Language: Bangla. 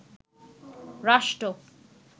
রাষ্ট্র